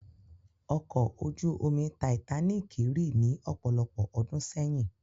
Ọkọ̀ ojú omi tàìtáníkì rì ní ọ̀pọ̀lọpọ̀ ọdún sẹ́yìn.